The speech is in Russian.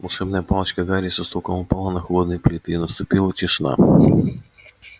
волшебная палочка гарри со стуком упала на холодные плиты и наступила тишина